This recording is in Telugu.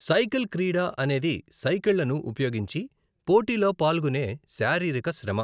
సైకిల్ క్రీడ అనేది సైకిళ్లను ఉపయోగించి పోటీలో పాల్గునే శారీరక శ్రమ .